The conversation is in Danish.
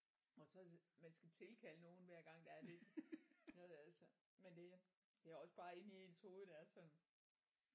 Og så det man skal tilkalde nogen hvergnag der er lidt noget altså men det er det også bare lidt inde i ens hoved det er sådan